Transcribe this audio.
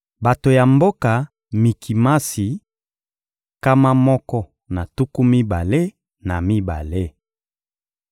Bato ya mboka Mikimasi: nkama moko na tuku mibale na mibale.